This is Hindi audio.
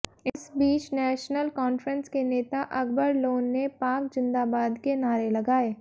इस बीच नेशनल कॉन्फ्रेंस के नेता अकबर लोन ने पाक जिंदाबाद के नारे लगाए